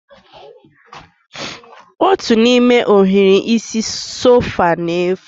Otu n'ime ohiri isi sofa na-efu